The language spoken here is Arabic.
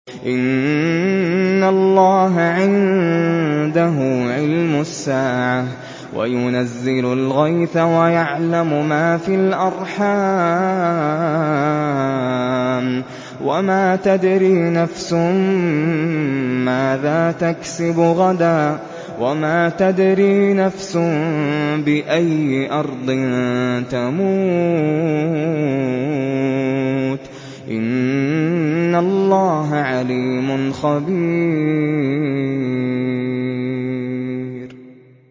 إِنَّ اللَّهَ عِندَهُ عِلْمُ السَّاعَةِ وَيُنَزِّلُ الْغَيْثَ وَيَعْلَمُ مَا فِي الْأَرْحَامِ ۖ وَمَا تَدْرِي نَفْسٌ مَّاذَا تَكْسِبُ غَدًا ۖ وَمَا تَدْرِي نَفْسٌ بِأَيِّ أَرْضٍ تَمُوتُ ۚ إِنَّ اللَّهَ عَلِيمٌ خَبِيرٌ